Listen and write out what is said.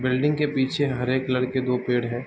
Building के पीछे हरे कलर के दो पेड़ हैं।